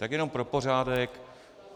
Tak jenom pro pořádek.